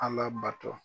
Ala bato